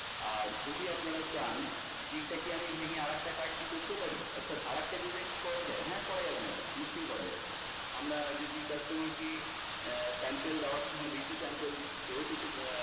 আর যদি আপনারা চান, যে এইটা কি আমরা ভেঙে আরেকটা card করতে পারি? অর্থাৎ আরেকটা design কি করা যায়? হ্যাঁ করা যাবে না কেন নিশ্চই করা যাবে। আমরা যদি customer কে sample দেওয়ার সময় বেশি sample দেই সেও তো আহ